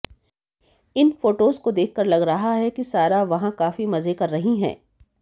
इन photos को देखकर लग रहा है कि सारा वहां काफी मजे कर रही हैं